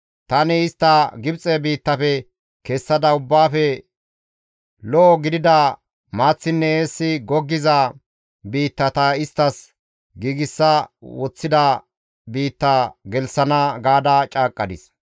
‹Tani istta Gibxe biittafe kessada ubbaafe lo7o gidida maaththinne eessi goggiza biitta ta isttas giigsa woththida biitta gelththana› gaada caaqqadis.